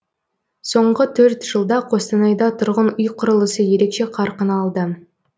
соңғы төрт жылда қостанайда тұрғын үй құрылысы ерекше қарқын алды